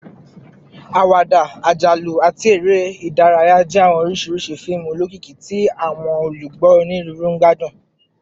Awada, ajalu, ati ere idaraya jẹ awọn oriṣi fiimu olokiki ti awọn olugbo oniruuru gbadun